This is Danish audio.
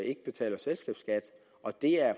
ikke betaler selskabsskat og det er